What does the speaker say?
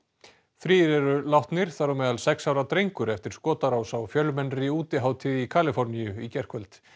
þrír eru látnir þar á meðal sex ára drengur eftir skotárás á fjölmennri útihátíð í Kaliforníu í gærkvöld